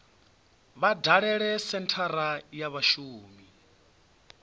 vha dalele senthara ya vhashumi